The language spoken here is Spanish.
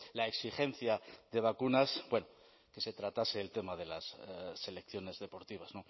la exigencia de vacunas bueno que se tratase el tema de las selecciones deportivas